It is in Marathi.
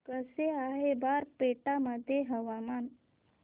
कसे आहे बारपेटा मध्ये हवामान